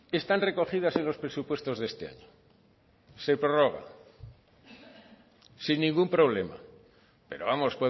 están recogidas en los presupuestos de este año se prorroga sin ningún problema pero vamos